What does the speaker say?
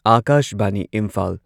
Akashvani Imphal